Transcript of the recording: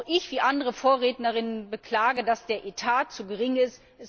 Auch ich, wie andere Vorrednerinnen, beklage, dass der Etat zu gering ist.